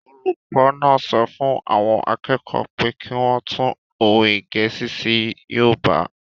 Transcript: Olùkọ́ náà sọ fún àwọn akẹ́kọ̀ọ́ pé kí wọ́n tú òwe gẹ̀ẹ́sì sí yoòbá